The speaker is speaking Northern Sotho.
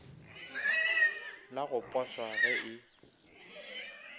la go poswa ge e